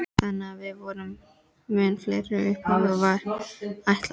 Þannig að við vorum mun færri en upphaflega var ætlað.